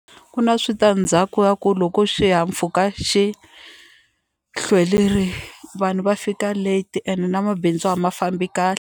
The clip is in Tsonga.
Ku na switandzhaku ya ku loko xihahampfhuka xi hlwerile vanhu va fika late and na mabindzu a ma fambi kahle.